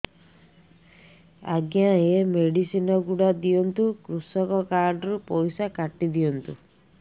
ଆଜ୍ଞା ଏ ମେଡିସିନ ଗୁଡା ଦିଅନ୍ତୁ କୃଷକ କାର୍ଡ ରୁ ପଇସା କାଟିଦିଅନ୍ତୁ